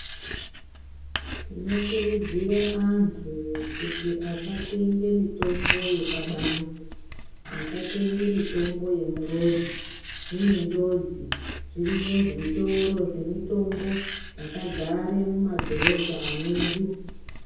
Tinokurudzire antu kuti asatenge mitombo yepabanze, asatenge mitombo murodhi zvine njodzi. Zviriyo zvitoro zvemitombo zvakadzare mumadhorobha medu.